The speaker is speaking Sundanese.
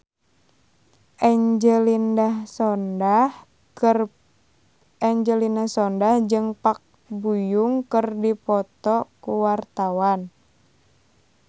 Angelina Sondakh jeung Park Bo Yung keur dipoto ku wartawan